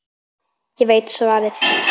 Ég veit svarið.